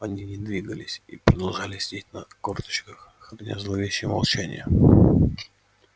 они не двигались и продолжали сидеть на корточках храня зловещее молчание